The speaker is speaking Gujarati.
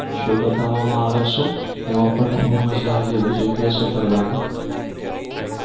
show બતાવવામાં આવે છે એમાં પણ બહુ મજા આવે છે એવી જગ્યા છે ફરવાની.